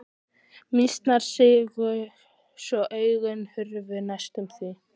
Mýsnar sigu svo augun hurfu næstum því.